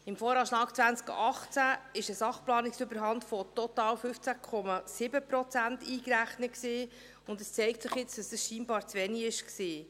Im VAg 2018 war ein Sachplanungsüberhang von total 15,7 Prozent eingerechnet, und es zeigt sich jetzt, dass dies scheinbar zu wenig war.